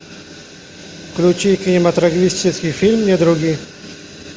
включи кинематографический фильм недруги